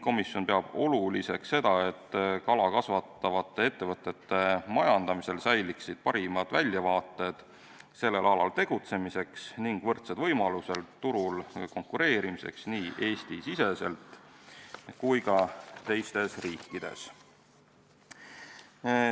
Komisjon peab oluliseks, et kala kasvatavate ettevõtete majandamisel säiliksid parimad väljavaated sellel alal tegutsemiseks ning võrdsed võimalused turul konkureerimiseks nii Eesti-siseselt kui ka teistes riikides.